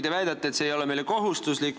Te väidate, et see ei ole meile kohustuslik.